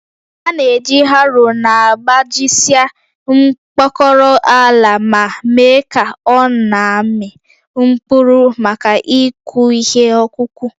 A na-eji harrow na-agbajisịa mkpọkọrọ ala ma mee ka ọ na-amị mkpụrụ maka ịkụ ihe ọkụkụ